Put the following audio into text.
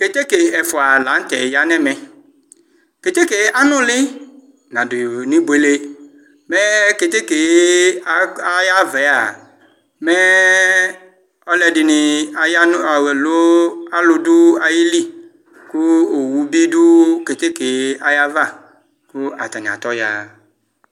Keteke ɛfʋa lanʋtɛ yanʋ ɛmɛ keteke yɛ anʋli nadʋ nʋ ibuele mɛ keteke ayʋ ava mɛ ɛlʋɛdini yanʋ ayili kʋ owʋbi dʋ keteke ayʋ ava kʋ ata'i atɔya